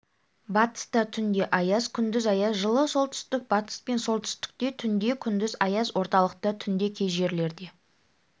батыста түнде аяз күндіз аяз жылы солтүстік-батыс пен солтүстікте түнде күндіз аяз орталықта түнде кей жерлерде